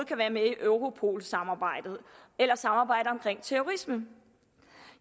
kan være med i europolsamarbejdet eller samarbejdet om terrorisme